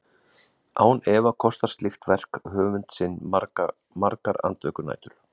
Án efa kostar slíkt verk höfund sinn margar andvökunætur.